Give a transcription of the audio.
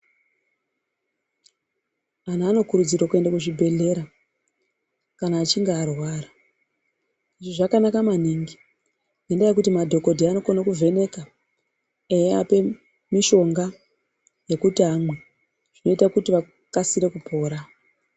Antu anokurudzirwa kuenda kuzvibhedhlera kana achinge arwara. Izvi zvakanaka maningi ngendaa yekuti madhokodheya anokona kuvheneka eiapa mushonga yekuti amwe zvinoita kuti akasire kupora.